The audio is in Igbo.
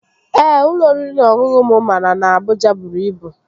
Ee, ụlọ oriri na ọṅụṅụ mụ mara na Abụja bụrụ ibu